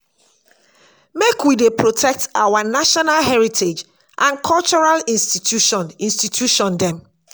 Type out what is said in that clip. make we dey protect our national heritage and cultural institution institution dem.